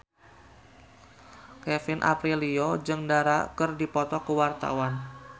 Kevin Aprilio jeung Dara keur dipoto ku wartawan